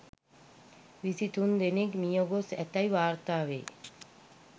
විසි තුන් දෙනෙක් මියගොස් ඇතැයි වාර්තා වෙයි.